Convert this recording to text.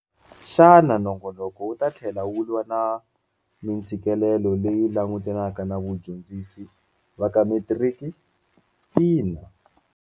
Xana nongonoko wu ta tlhela wu lwa na mintshikeLelo leyi langutaneke na vadyondzi va ka Metiriki? Ina.